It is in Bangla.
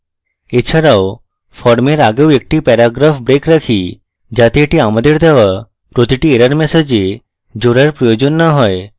এছাড়াও ফর্মের আগেও একটি প্যারাগ্রাফ break রাখি যাতে এটি আমাদের দেওয়া প্রতিটি error ম্যাসেজে জোড়ার প্রয়োজন না হয়